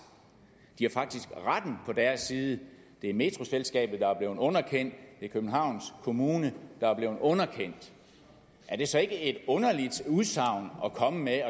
de har faktisk retten på deres side det er metroselskabet der er blevet underkendt det er københavns kommune der er blevet underkendt er det så ikke et underligt udsagn at komme med